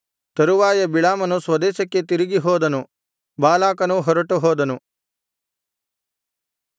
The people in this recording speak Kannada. ತರುವಾಯ ಬಿಳಾಮನು ಸ್ವದೇಶಕ್ಕೆ ತಿರುಗಿ ಹೋದನು ಬಾಲಾಕನೂ ಹೊರಟುಹೋದನು